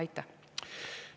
Aitäh!